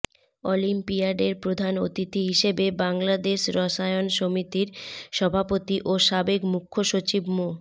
অলিম্পিয়াডের প্রধান অতিথি হিসেবে বাংলাদেশ রসায়ন সমিতির সভাপতি ও সাবেক মুখ্য সচিব মো